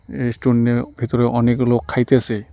রেস্টুরেন্নের -এর ভিতরে অনেক লোক খাইতাসে।